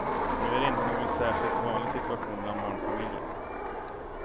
Nu är det inte någon särskilt vanlig situation bland barnfamiljer.